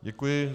Děkuji.